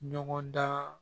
Ɲɔgɔn dan